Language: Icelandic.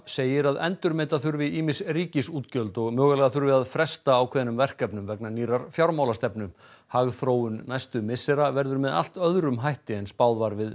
segir að endurmeta þurfi ýmis ríkisútgjöld og mögulega þurfi að fresta ákveðnum verkefnum vegna nýrrar fjármálastefnu hagþróun næstu missera verður með allt öðrum hætti en spáð var við